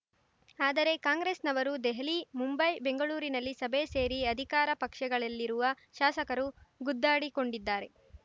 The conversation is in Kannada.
ಆದರೆ ಕಾಂಗ್ರೆಸ್‌ನವರು ದೆಹಲಿ ಮುಂಬೈ ಬೆಂಗಳೂರಿನಲ್ಲಿ ಸಭೆ ಸೇರಿ ಅಧಿಕಾರ ಪಕ್ಷಗಳಲ್ಲಿರುವ ಶಾಸಕರು ಗುದ್ದಾಡಿಕೊಂಡಿದ್ದಾರೆ